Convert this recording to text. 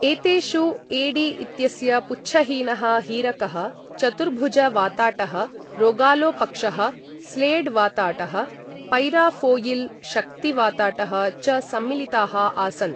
एतेषु एडी इत्यस्य पुच्छहीनः हीरकः, चतुर्भुज वाताटः, रोगालो पक्षः, स्लेड् वाताटः, पैराफ़ौयिल्, शक्ति वाताटः च सम्मिलिताः आसन्।